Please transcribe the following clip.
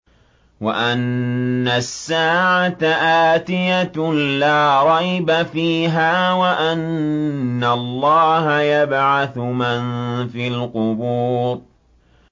وَأَنَّ السَّاعَةَ آتِيَةٌ لَّا رَيْبَ فِيهَا وَأَنَّ اللَّهَ يَبْعَثُ مَن فِي الْقُبُورِ